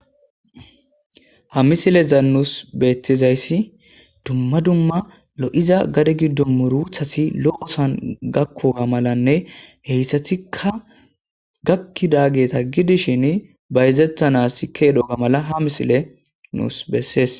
ha misileza nnuus beettizayssi dumma dumma lo'iza gade giddo muruuthasi lo'osan gakkoga malanne heyssathika gakkidageeta gidishin bayzethanas keedo ba mala ha misile nuus bessees